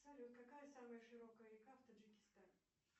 салют какая самая широкая река в таджикистане